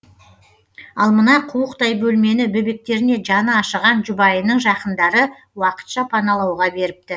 ал мына қуықтай бөлмені бөбектеріне жаны ашыған жұбайының жақындары уақытша паналауға беріпті